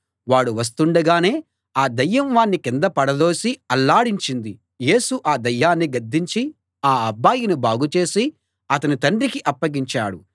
వాడు వస్తుండగానే ఆ దయ్యం వాణ్ణి కింద పడదోసి అల్లాడించింది యేసు ఆ దయ్యాన్ని గద్దించి ఆ అబ్బాయిని బాగుచేసి అతని తండ్రికి అప్పగించాడు